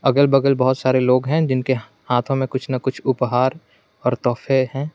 अगल बगल बहुत सारे लोग हैं जिनके हाथों में कुछ ना कुछ उपहार और तोफे हैं।